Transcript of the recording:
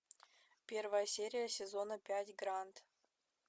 первая серия сезона пять гранд